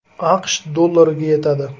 AQSh dollariga yetadi.